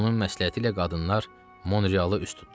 Onun məsləhəti ilə qadınlar Monrealı üst tutdular.